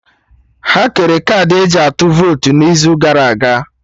Ha kere kaadị eji atụ votu n'izu gara aga